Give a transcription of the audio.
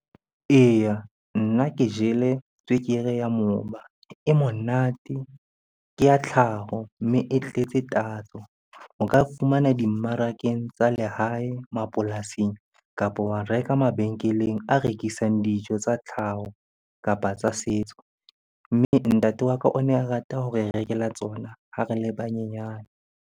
Eya, nna ke jele tswekere ya moba e monate. Ke ya tlhaho, mme e tletse tatso. O ka fumana dimmarakeng tsa lehae, mapolasing kapo wa reka mabenkeleng a rekisang dijo tsa tlhaho, kapa tsa setso. Mme, ntate wa ka o ne a rata ho re rekela tsona ba re le banyenyane.